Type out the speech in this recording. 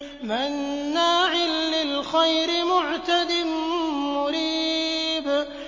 مَّنَّاعٍ لِّلْخَيْرِ مُعْتَدٍ مُّرِيبٍ